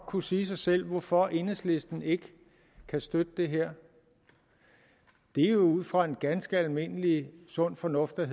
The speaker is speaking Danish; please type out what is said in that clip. kunne sige sig selv hvorfor enhedslisten ikke kan støtte det her det er jo ud fra ganske almindelig sund fornuft der